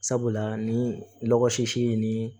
Sabula ni ɔgɔlɔgɔ si ye ni